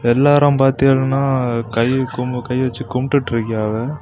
எல்லாரும் பாத்தீங்கன்னா கை கூ கை வச்சு கும்பிட்டு இருக்காங்க.